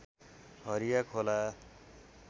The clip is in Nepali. हरिया खोला